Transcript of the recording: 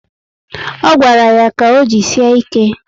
O gwara ya ka o jisie ike